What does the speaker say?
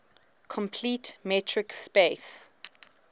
complete metric space